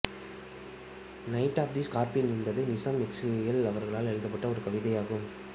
night of the Scorpion என்பது நிசீம் எசெக்கியேல் அவா்களால் எழுதப்பட்ட ஒரு கவிதை ஆகும்